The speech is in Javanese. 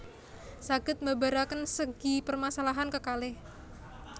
Saged mbabaraken segi permasalahan kekalih